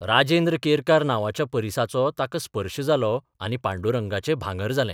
राजेंद्र केरकार नांवाच्या परिसाचो ताका स्पर्श जालो आनी पांडुरंगाचें भांगर जालें.